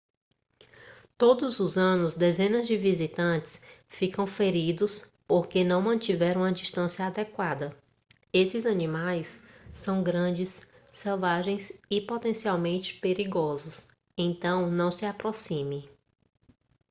todos os anos dezenas de visitantes ficam feridos porque não mantiveram uma distância adequada esses animais são grandes selvagens e potencialmente perigosos então não se aproxime